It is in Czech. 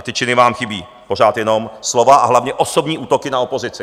A ty činy vám chybí, pořád jenom slova a hlavně osobní útoky na opozici.